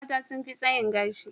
Mata sun fi tsayin gashi.